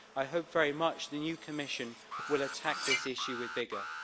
I hope very much the new Commission will attack this issue with vigour.